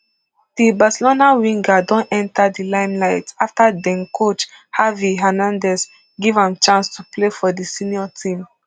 di barcelona winger don enta di limelight afta den coach xavi xernandez give am chance to play for di senior team